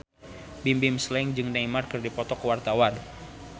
Bimbim Slank jeung Neymar keur dipoto ku wartawan